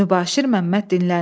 Mübaşir Məmməd dinləndi.